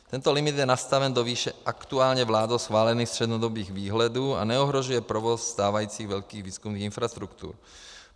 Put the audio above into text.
Tento limit je nastaven do výše aktuálně vládou schválených střednědobých výhledů a neohrožuje provoz stávajících velkých výzkumných infrastruktur.